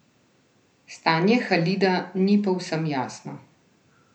Stanje Halida ni povsem jasno.